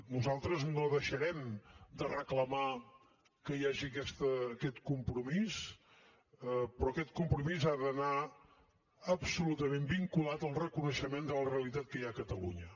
nosaltres no deixarem de reclamar que hi hagi aquest compromís però aquest compromís ha d’anar absolutament vinculat al reconeixement de la realitat que hi ha a catalunya